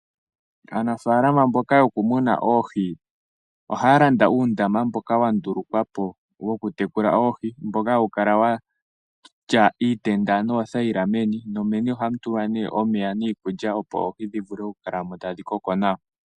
Aanafaalama mboka yokumuna oohi ohaya landa uutala mboka wa tungwapo mboka wakala watya iitenda noothayila meni nomeni ohamu tulwa nee